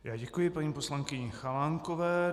Já děkuji paní poslankyni Chalánkové.